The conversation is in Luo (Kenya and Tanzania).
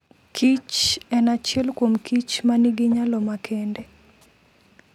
kichen achiel kuomkich ma nigi nyalo makende.